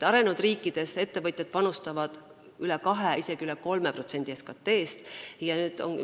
Arenenud riikides panustavad ettevõtjad üle 2%, isegi üle 3% SKT-st.